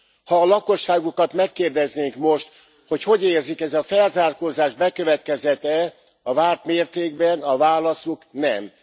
Ha a lakosságukat megkérdeznénk most, hogy hogy érzik, ez a felzárkózás bekövetkezett e a várt mértékben, a válaszuk nem.